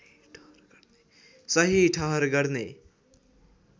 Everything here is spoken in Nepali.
सही ठहर गर्ने